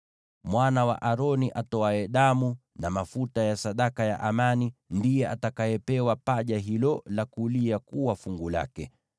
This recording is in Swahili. Mwana wa Aroni atoaye damu na mafuta ya sadaka ya amani ndiye atakayepewa paja hilo la kulia kuwa fungu lake.